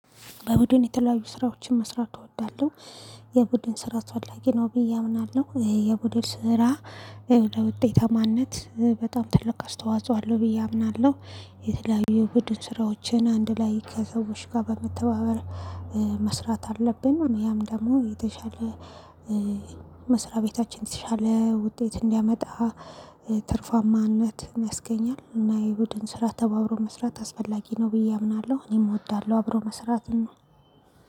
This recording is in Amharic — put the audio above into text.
በቡድን የተለያዩ ስራዎችን መስራት እወዳለሁ። የቡድን ስራ አስፈላጊ ነው ብዬ አምናለሁ የቡድን ስራ ለውጤታማነት በጣም ትልቅ አስተዋጽኦ አለው ብዬ አምናለሁ። የተለያዩ ቡድን ስራዎችን አንድ ላይ ከሰዎች ጋር በመተባበር መስራት አለብን። ያም ደግሞ የተሻለ መስሪያ ቤታችን የተሻለ ውጤት እንዲያመጣ ትርፋማነት ያስገኛለን። እና የቡድን ስራ ተባብሮ መስራት አስፈላጊ ነው ብዬ አምናለሁ። እኔም እወዳለሁ አብሮ መስራትን ነው